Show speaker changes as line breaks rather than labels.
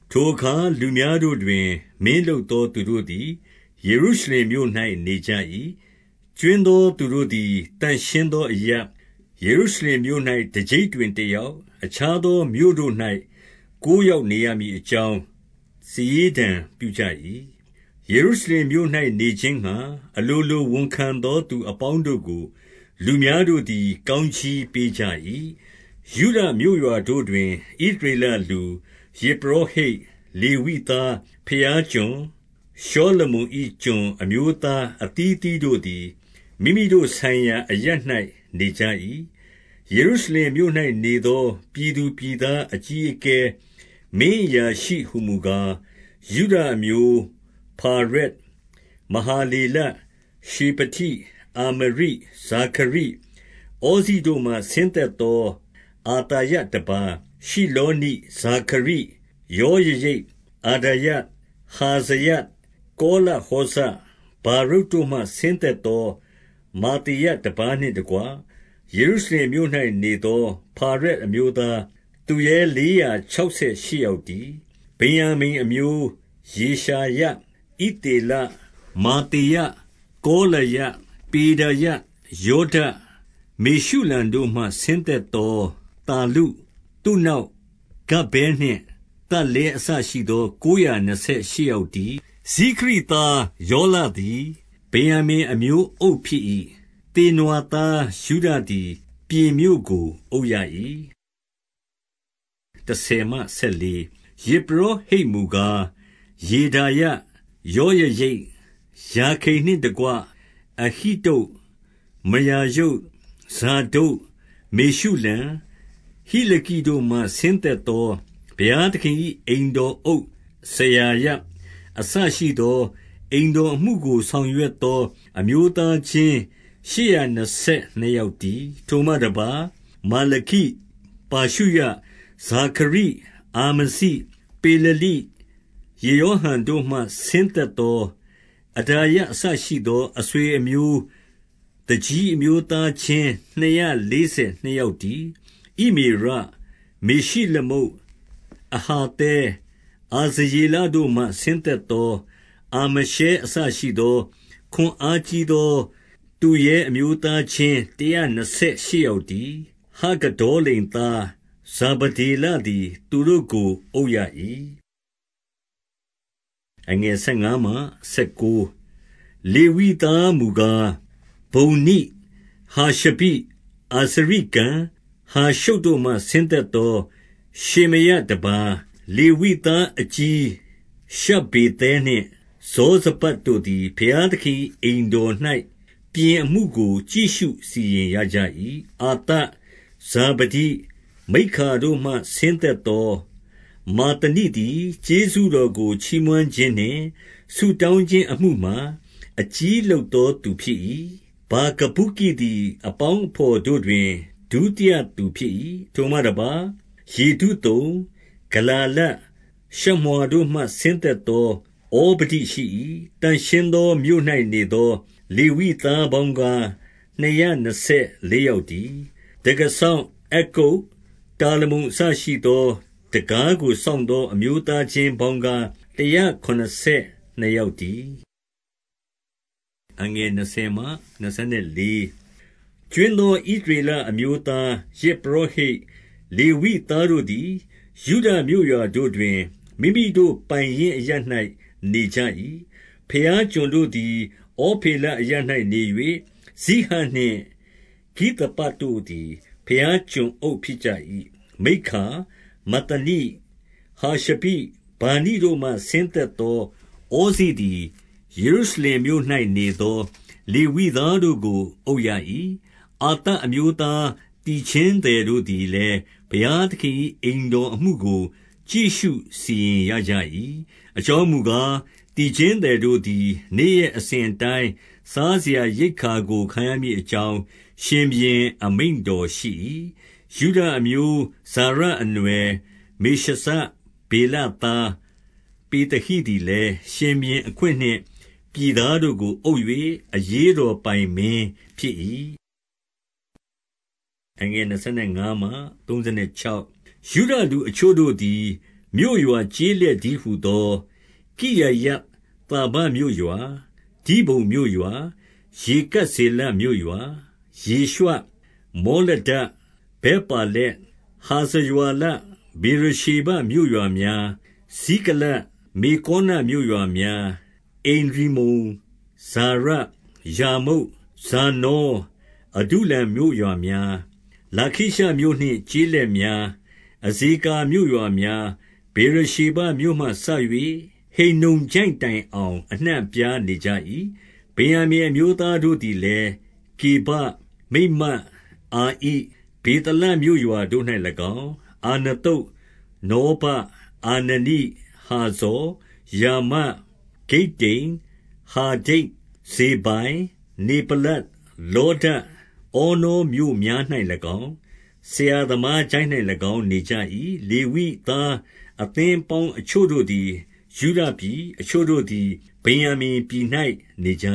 ထိုအခါလူများတို့တွင် မင်းလုပ်သော သူတို့သည် ယေရုရှလင်မြို့၌ နေကြ၏။ ကြွင်းသောသူတို့သည် သန့်ရှင်းသောအရပ်၊ ယေရုရှလင်မြို့၌ တကျိပ်တွင် တယောက်၊ အခြားသောမြို့တို့၌ ကိုးယောက် နေရမည် အကြောင်း စာရေးတံပြုကြ၏။ 2 ယေရုရှလင်မြို့၌နေခြင်းငှါ အလိုလို ဝန်ခံသော သူအပေါင်းတို့ကို၊ လူများတို့သည် ကောင်းကြီးပေးကြ၏။ 3 ယုဒမြို့ရွာတို့တွင် ဣသရေလလူ၊ ယဇ်ပုရော ဟိတ်၊ လေဝိသား၊ ဘုရားကျွန်၊ ရှောလမုန့်၏ ကျွန် အမျိုးသားအသီးအသီးတို့သည် မိမိတို့ ဆိုင်ရာအရပ်၌ နေကြ၏။ ယေရုရှလင်မြို့၌နေသော ပြည်သူပြည်သား အကြီးအကဲ၊ မင်းအရာရှိဟူမူကား၊ 4 ယုဒအမျိုး၊ ဖာရက်၊ မဟာလေလ၊ ရှေဖတိ၊ အာမရိ၊ ဇာခရိ၊ ဩဇိတို့မှ ဆင်းသက်သော အသာယ တပါး၊ 5 ရှိလောနိ၊ ဇာခရိ၊ ယောယရိပ်၊ အဒါယ၊ ဟဇာယ၊ ကောလဟောဇ၊ ဗာရုတ်တို့မှ ဆင်းသက်သော မာသေယတပါးနှင့်တကွ၊ 6 ယေရုရှလင်မြို့၌နေသော ဖာရက်အမျိုးသား၊ သူရဲလေးရာခြောက်ဆယ်ရှစ်ယောက်တည်း။ 7 ဗင်္ယာမိန်အမျိုး၊ ယေရှာယ၊ ဣသေလ၊ မာသေယ၊ ကောလာယ၊ ပေဒါယ၊ ယောဒ၊ မေရှုလံတို့မှ ဆင်းသက်သော သလ္လု၊ 8 သုနောက်၊ ဂဗ္ဗဲနှင့်သလ္လဲ အစရှိသော ကိုးရာ နှစ်ဆယ်ရှစ်ယောက်တည်း။ 9 ဇိခရိသား ယောလသည် ဗင်္ယာမိန် အမျိုးအုပ် ဖြစ်၏။ သေနွာသားယုဒသည် ပြင်မြို့ကိုအုပ်ရ၏။ 10 ယဇ်ပုရောဟိတ်မူကား ယေဒါယ၊ ယောယရိပ်၊ ယာခိန်နှင့်တကွ၊ 11 အဟိတုပ်၊ မရာယုတ်၊ ဇာဒုတ်၊ မေရှုလံ၊ ဟိလခိ တို့မှ ဆင်းသက်သော ဘုရားသခင်၏ အိမ်တော်အုပ်စရာ ယ အစရှိသော၊ 12 အိမ်တော်အမှုကို ဆောင်ရွက်သော အမျိုးသား ချင်း ရှစ်ရာနှစ်ဆယ်နှစ်ယောက်တည်း။ ထိုမှတပါး၊ မာလခိ၊ ပါရှုရ၊ ဇာခရိ၊ အာမဇိ၊ ပေလလိ၊ ယေရောဟံ တို့မှ ဆင်းသက်သော အဒါယအစရှိသော၊ 13 အဆွေအမျိုး သူကြီးအမျိုးသားချင်း နှစ်ရာလေး ဆယ်နှစ်ယောက်တည်း။ ဣမေရ၊ မေရှိလမုတ်၊ အဟာသဲ၊ အာဇရေလတို့မှ ဆင်းသက်သော အာမရှဲအစရှိသော၊ 14 ခွန်အားကြီးသော သူရဲအမျိုးသားချင်း တရာ နှစ်ဆယ်ရှစ်ယောက်တည်း။ ဟဂဒေါလိမ်သား ဇာဗ ဒေလသည် သူတို့ကို အုပ်ရ၏။ 15 လေဝိသားမူကား၊ ဗုန္နိ၊ ဟာရှဘိ၊ အာဇရိကံ၊ ဟာရှုပ်တို့မှ ဆင်းသက်သော ရှေမာယတပါး၊ 16 လေဝိသားအကြီး ရှဗ္ဗေသဲနှင့် ယောဇဗဒ်တို့ သည် ဘုရားသခင်၏အိမ်တော်၌ ပြင်အမှုကို ကြည့်ရှု စီရင်ရကြ၏။ 17 အာသပ်၊ ဇာဗဒိ၊ မိက္ခာတို့မှ ဆင်းသက်သော မဿနိသည် ကျေးဇူးတော်ကို ချီးမွမ်းခြင်းနှင့် ဆုတောင်း ခြင်းအမှုမှာ အကြီးလုပ်သော သူဖြစ်၏။ ဗာကဗုကိသည် အပေါင်းအဘော်တို့တွင် ဒုတိယသူဖြစ်၏။ ထိုမှတပါး၊ ယေဒုသုန်၊ ဂလာလ၊ ရှမွာတို့မှ ဆင်းသက်သော ဩဗဒိ ရှိ၏။ 18 သန့်ရှင်းသောမြို့၌နေသော လေဝိသားပေါင်း ကား နှစ်ရာနှစ်ဆယ်လေးယောက်တည်း။ 19 တံခါးစောင့်အက္ကုပ်၊ တာလမုန်အစရှိသော တံခါးကို စောင့်သော အမျိုးသားချင်း ပေါင်းကားတရာ ခုနစ်ဆယ်နှစ်ယောက်တည်း။ 20 ကြွင်းသော ဣသရေလအမျိုးသား၊ ယဇ်ပုရော ဟိတ်၊ လေဝိသားတို့သည် ယုဒမြို့ရွာတို့တွင်၊ မိမိတို့ ပိုင်ရင်းအရပ်၌နေကြ၏။ 21 ဘုရားကျွန်တို့သည် ဩဖေလအရပ်၌နေ၍၊ ဇိဟနှင့် ဂိသပတို့ သည် ဘုရားကျွန်အုပ် ဖြစ်ကြ၏။ 22 မိက္ခာ၊ မဿနိ၊ ဟာရှဘိ၊ ဗာနိတို့မှ ဆင်းသက် သော ဩဇိသည် ယေရုရှလင်မြို့၌နေသော လေဝိသားတို့ ကို အုပ်ရ၏။ အာသပ်အမျိုးသား သီချင်းသည်တို့သည် လည်း ဘုရားသခင်၏ အိမ်တော်အမှုကို ကြည့်ရှုစီရင် ရကြ၏။ 23 အကြောင်းမူကား၊ သီချင်းသည်တို့သည် နေ့ရက် အစဉ်အတိုင်း စားစရာရိက္ခာကို ခံရမည်အကြောင်း ရှင်ဘုရင် အမိန့်တော်ရှိ၏။ 24 ယုဒအမျိုး ဇာရအနွှယ်မေရှဇ ဗေလသား ပေသဟိသည်လည်း ရှင်ဘုရင်အခွင့်နှင့် ပြည်သားတို့ကို အုပ်၍ အရေးတော်ပိုင်မင်းဖြစ်၏။ 25 ယုဒလူအချို့တို့သည် မြို့ရွာကျေးလက်တည်း ဟူသော ကိရယသာဘမြို့ရွာ၊ ဒိဘုန်မြို့ရွာ၊ ယေကပ် ဇေလမြို့ရွာ၊ 26 ယေရွှ၊ မောလဒ၊ ဗက်ပါလက်၊ 27 ဟာဇာရွှာလ၊ ဗေရရှေဘ မြို့ရွာများ၊ 28 ဇိကလတ်၊ မေကောနမြို့ရွာများ၊ 29 အင်ရိမ္မုန်၊ ဇာရ၊ ယာမုတ်၊ 30 ဇာနော၊ အဒုလံ မြို့ရွာများ၊ လာခိရှမြို့နှင့် ကျေးလက်များ၊ အဇေကာမြို့ရွာများ၊ ဗေရရှေဘ မြို့မှ စ၍ ဟိန္နုံချိုင့်တိုင်အောင် အနှံ့အပြားနေကြ၏။ 31 ဗင်္ယာမိန် အမျိုးသားတို့သည်လည်း ဂေဗ၊ မိတ်မတ်၊ အာဣ၊ ဗေသလမြို့ရွာတို့၌၎င်း၊ 32 အာနသုတ်၊ နောဗ၊ အာနနိ၊ 33 ဟာဇော်၊ ရာမ၊ ဂိတ္တိမ်၊ 34 ဟာဒိဒ်၊ ဇေဘိုင်၊ နေဗလ္လတ်၊ 35 လေဒ၊ ဩနောမြို့များ၌၎င်း၊ ဆရာသမားချိုင့်၌၎င်း နေကြ၏။ 36 လေဝိသား အသင်းအပေါင်းအချို့တို့သည် ယုဒပြည်၊ အချို့တို့သည် ဗင်္ယာမိန်ပြည်၌နေကြ